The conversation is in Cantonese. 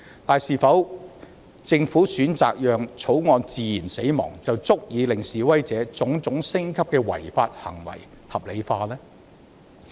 然而，政府選擇讓《條例草案》自然死亡，是否便足以令示威者種種升級的違法行為合理化？